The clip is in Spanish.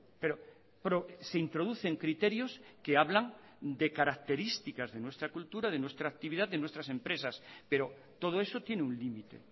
pero se introducen criterios que hablan de características de nuestra cultura de nuestra actividad de nuestras empresas pero todo eso tiene un límite